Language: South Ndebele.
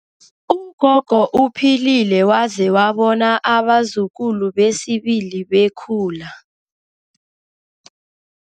Ugogo uphilile waze wabona abazukulu besibili bekhula.